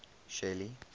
shelly